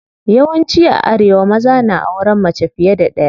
Yawan ci a arewa maza na auren mace fiye da ɗaya.